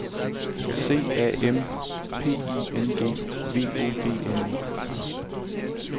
C A M P I N G V O G N E